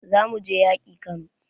Za mu je yaƙi Kano